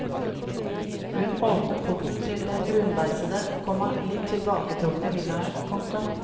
Hun åpnet porten til den brunbeisede, komma litt tilbaketrukne villaen. punktum